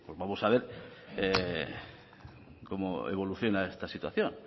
vamos a ver cómo evoluciona esta situación